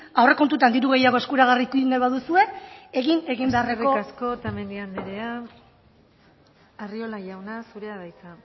aurrekontuetan diru gehiago eskuragarri eduki nahi baduzue egin egin beharreko eskerrik asko otamendi andrea arriola jauna zurea da hitza